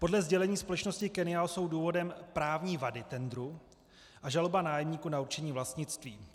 Podle sdělení společnosti Kennial jsou důvodem právní vady tendru a žaloba nájemníků na určení vlastnictví.